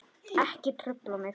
Ekki trufla mig!